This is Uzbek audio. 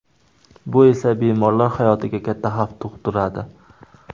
Bu esa bemorlar hayotiga katta xavf tug‘diradi.